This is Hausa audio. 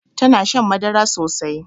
Tana shan madara sosai